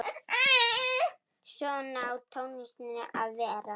Svona á tónlist að vera.